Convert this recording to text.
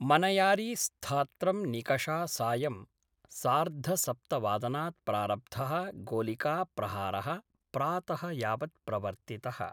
मनयारी स्थात्रं निकषा सायं सार्धसप्तवादनात् प्रारब्ध: गोलिका प्रहारः प्रात: यावत् प्रवर्तितः।